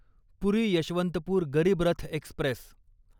पुरी Yesvantpur Garib Rath Express